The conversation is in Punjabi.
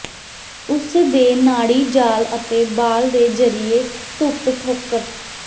ਉਸ ਦੇ ਨਾੜੀ ਜਾਲ ਅਤੇ ਬਾਲ ਦੇ ਜ਼ਰੀਏ ਧੁੱਪ ਠੋਕਰ